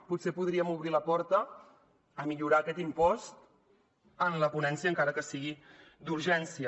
potser podríem obrir la porta a millorar aquest impost en la ponència encara que sigui d’urgència